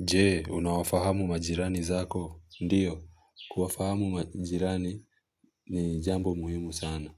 Jee, unawafahamu majirani zako? Ndio. Kuwa fahamu majirani ni jambo muhimu sana.